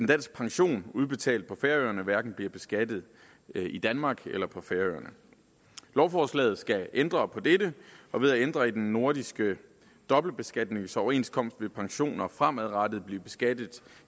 dansk pension udbetalt på færøerne hverken bliver beskattet i danmark eller på færøerne lovforslaget skal ændre på dette og ved at ændre i den nordiske dobbeltbeskatningsoverenskomst vil pensioner fremadrettet blive beskattet